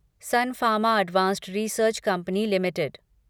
sun Pharma advanced research company limited